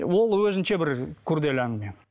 ол өзінше бір күрделі әңгіме